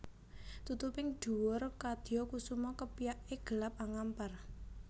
Tutuping dhuwur kadya kusuma kepyake gelap angampar